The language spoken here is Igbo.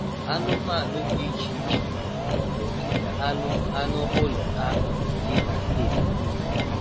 Anụmanụ dị iche iche nọ n'ogige anụ anụ ụlọ ha dị na steeti Imo.